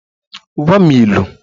Gwa m ilu!